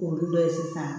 Olu dɔ ye sisan